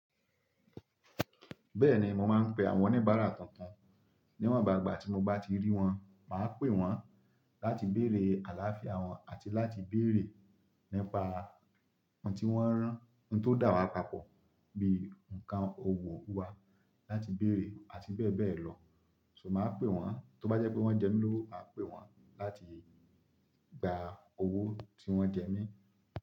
Bẹ́ẹ̀ni, mo máa ń pe àwọn oníbàárà tuntun. Ní wọ̀n ba igba tí mi o bá ti rí wọn, màá pè wọ́n láti bèerè àlaáfiá wọn àti láti bèrè nípa ohun tí wọ́n rá, ohun tó dà wá papọ̀ bí i ǹkan òwò wa láti bèrè, àti bẹ́ẹ̀ bẹ́ẹ̀ lọ. So màá pè wọ́n, tó bá jẹ́ pé wọ́n jẹ mí lówó, màá pè wọ́n láti gbà owó tí wọ́n jẹ mí.